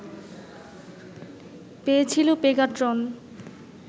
পেয়েছিল পেগাট্রন